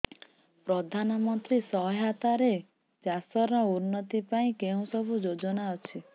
ପ୍ରଧାନମନ୍ତ୍ରୀ ସହାୟତା ରେ ଚାଷ ର ଉନ୍ନତି ପାଇଁ କେଉଁ ସବୁ ଯୋଜନା ଅଛି